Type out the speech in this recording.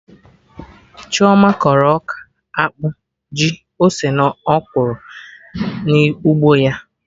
Chioma kọrọ ọka, akpụ, ji, ose na ọkwụrụ na ugbo ya